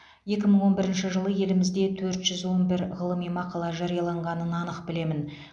екі мың он бірінші жылы елімізде төрт жүз он бір ғылыми мақала жарияланғанын анық білемін